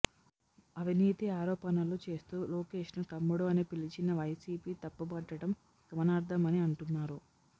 అవినీతి ఆరోపణలు చేస్తూ లోకేష్ను తమ్ముడు అని పిలిచినా వైసీపీ తప్పుబట్టడం గమనార్హమని అంటున్నారు